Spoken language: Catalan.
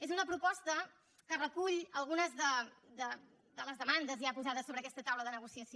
és una proposta que recull algunes de les demandes ja posades sobre aquesta taula de negociació